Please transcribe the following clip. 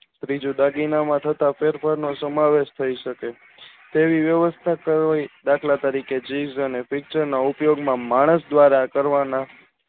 ત્રીજું દાગીના માટે કોપરેટ સમાવેશ થાય શકે છે દાખલ તરીકે માણસ દ્વારા કરવામાં